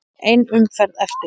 Ein umferð eftir.